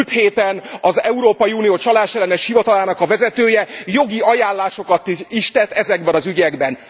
Múlt héten az Európai Unió csalásellenes hivatalának a vezetője jogi ajánlásokat is tett ezekben az ügyekben.